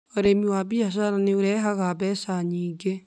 Ũrĩmi wa biacara nĩ ũrehaga mbeca nyingĩ